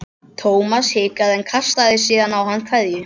Thomas hikaði en kastaði síðan á hann kveðju.